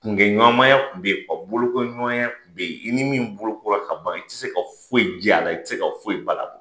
Kunkɛɲɔgɔnmaya tun bɛ yen, ka bolokoliɲɔgɔnya tun bɛ yen, i ni min bolokɔrɔ ka ban i tɛ se ka foyi jɛ a la, i tɛ se ka foyi bali a la.